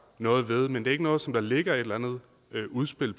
noget ved men det er ikke noget som der ligger et eller andet udspil